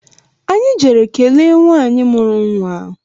Anyị jere kelee nwanyị mụrụ nwa